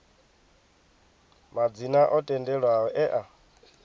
madzina o tendelwaho e a